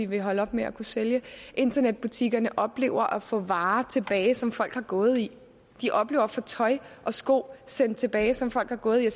vil holde op med at kunne sælge internetbutikkerne oplever at få varer tilbage som folk har gået i de oplever at få tøj og sko sendt tilbage som folk har gået i og